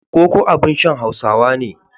Koko abin shan Hausawa ne.